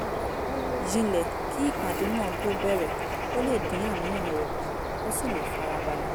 jinlẹ̀ kí ìpàdé náà tó bẹ̀rẹ̀ kó lè dín àníyàn rẹ̀ kù kó sì lè fara balẹ̀